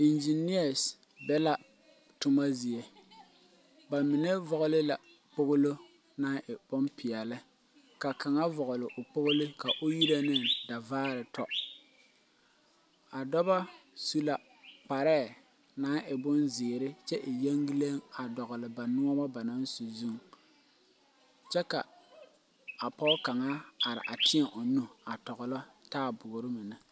Eŋgyenease be la toma zie ba mine vɔgle la kpoglo naŋ e bompeɛle ka kaŋa vɔgle o Kpolo ka o yini davaare tɔ a dɔba su la kpare naŋ e bonzeere kyɛ e yeŋgile a dogli ba noons ba naŋ su zuŋ kyɛ ka a pɔge kaŋa are a teɛ o nu a dɔglo taaboore mine.